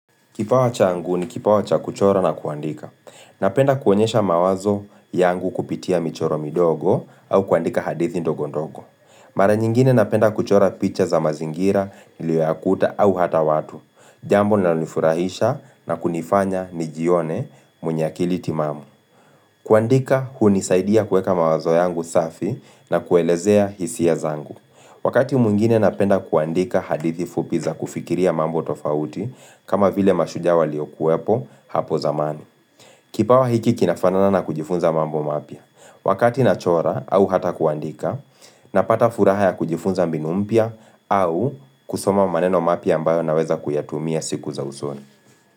Kipawa changu ni kipawa cha kuchora na kuandika. Napenda kuonyesha mawazo yangu kupitia michoro midogo au kuandika hadithi ndogondogo. Mara nyingine napenda kuchora picha za mazingira, liwe la kuta au hata watu. Jambo linalonifurahisha na kunifanya nijione mwenye akili timamu. Kuandika hunisaidia kueka mawazo yangu safi na kuelezea hisia zangu. Wakati mwngine napenda kuandika hadithi fupi za kufikiria mambo tofauti kama vile mashujaa waliokuwepo hapo zamani Kipawa hiki kinafanana na kujifunza mambo mapya Wakati nachora au hata kuandika Napata furaha ya kujifunza mbinu mpya au kusoma maneno mapya ambayo naweza kuyatumia siku za usoni.